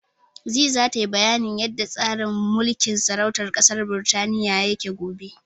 Zee zata yi bayanin yanda tsarin mulkin sarautar ƙasar Birtaniya yake gobe.